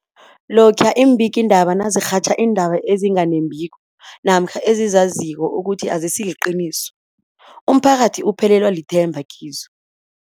Lokhuya iimbikiindaba nazirhatjha iindaba ezinga nembiko namkha ezizaziko ukuthi azisiliqiniso, umphakathi uphelelwa lithemba kizo.